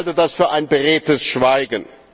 Ich halte das für ein beredtes Schweigen.